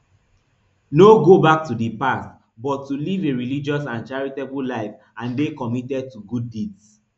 no go back to di past but to live a religious and charitable life and dey committed to good deeds